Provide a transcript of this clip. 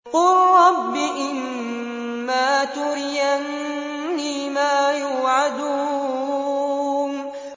قُل رَّبِّ إِمَّا تُرِيَنِّي مَا يُوعَدُونَ